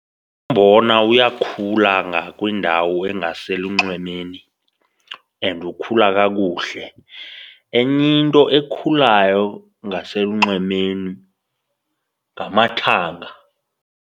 Umbona uyakhula ngakwindawo engaselunxwemeni and ukhula kakuhle. Enye into ekhulayo ngaselunxwemeni ngamathanga.